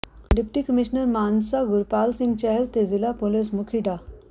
deputy commissioner Mansa Gurpal Singh Chahal ਤੇ ਜ਼ਿਲ੍ਹਾ police ਮੁੱਖੀ ਡਾ